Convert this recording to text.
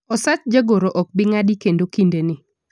osach jagoro ok bii ng'adi kendo kinde ni